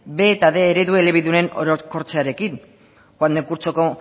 b eta bostehun eredu elebidunen orokortzearekin joan den kurtsoko